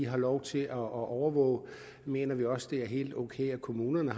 har lov til at overvåge mener vi også at det er helt ok at kommunerne